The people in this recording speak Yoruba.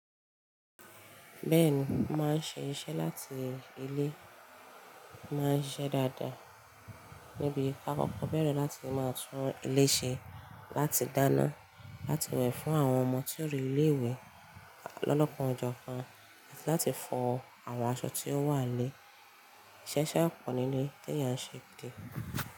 Bẹ́ẹ̀ni, mo máa ń ṣe iṣẹ́ láti ilé, mo máa ń ṣiṣẹ́ dáadáa níbi kakọ̀kọ́ bẹ̀rẹ̀ láti máa tún ilé ṣe, láti dáná, láti wẹ̀ fún àwọn ọmọ tí ó re ilé ìwé lọ́lọ́kan ọ jọ́ kan, láti fọ àwọn aṣọ tí ó wà n lé. Ìṣe iṣẹ́ ọkọ̀ nílé ni tí èyàn ṣe dé.